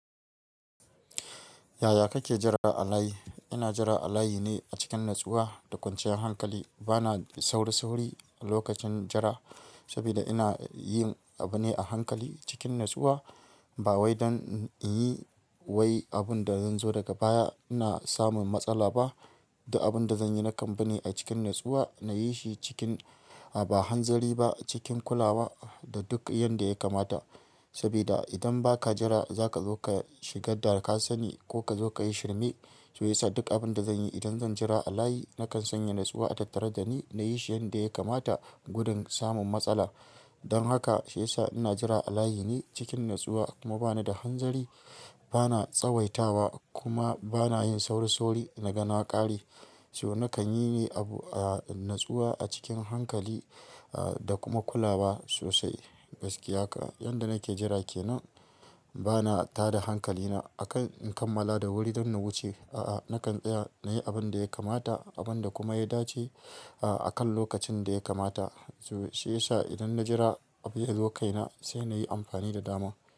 Yaya kake jira a layi? Ina jira a layi ne a cikin natsuwa da kwanciyar hankali. Bana sauri-sauri lokacin jira, saboda ina yin abu ne a hankali cikin natsuwa. Ba wai don in yi abun da zan zo daga baya, ina samun matsala ba. Abin da zan yi na kambi ne a cikin natsuwa, na yi shi cikin ba hanzari ba, cikin kula da duk yadda ya kamata. Saboda idan ba ka jira, za ka zo ka shiga darƙasani ko ka zo ka yi shirme. Shi ya sa duk abin da zan yi idan zan jira a layi, nakan sanya natsuwa a tattara da ni, na yi shi yadda ya kamata gudun samun matsala. Don haka shi ya sa ina jira a layi ne cikin natsuwa kuma bana da hanzari. Bana tsawaitawa kuma bana yin sauri-sauri. Na ga na ƙare. Shi ho nakan yi ne abu a natsuwa a cikin hankali da kuma kula wa sosai. Gaskiya haka. Yadda nake jira ke nan, bana tada hankalina akan in kammala da wuri don na wuce. A'a, nakan tsaya, na yi abin da ya kamata abin da kuma ya dace akan lokacin da ya kamata. Shi ya sa idan na jira abu ya zo kaina, sai na yi amfani da dama.